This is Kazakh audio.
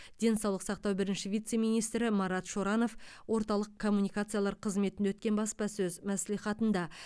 денсаулық сақтау бірінші вице министрі марат шоранов орталық коммуникациялар қызметінде өткен баспасөз мәслихатында